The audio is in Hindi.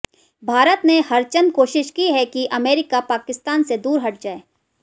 भारत ने हरचंद कोशिश की है कि अमेरिका पाकिस्तान से दूर हट जाए